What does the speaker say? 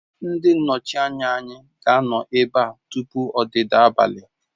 Ndị nnọchiteanya anyị ga-anọ ebe a tupu ọdịda abalị